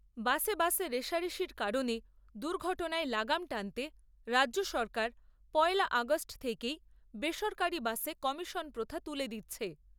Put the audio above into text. বাসে বাসে রেষারেষির কারণে দুর্ঘটনায় লাগাম টানতে রাজ্য সরকার পয়লা আগষ্ট থেকেই বেসরকারি বাসে কমিশন প্রথা তুলে দিচ্ছে।